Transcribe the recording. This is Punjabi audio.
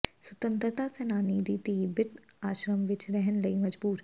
ਸੁਤੰਤਰਤਾ ਸੈਨਾਨੀ ਦੀ ਧੀ ਬਿਰਧ ਆਸ਼ਰਮ ਵਿੱਚ ਰਹਿਣ ਲਈ ਮਜਬੂਰ